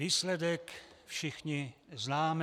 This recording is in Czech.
Výsledek všichni známe.